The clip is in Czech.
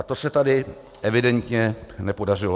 A to se tady evidentně nepodařilo.